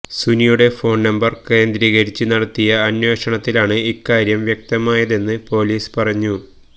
സുനിയുടെ phone number കേന്ദ്രീകരിച്ച് നടത്തിയ അന്വേഷണത്തിലാണ് ഇക്കാര്യം വ്യക്തമായതെന്ന് പോലീസ് പറഞ്ഞു